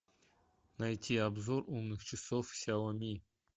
найти обзор умных часов сяоми